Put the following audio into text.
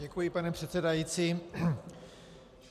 Děkuji, pane předsedající.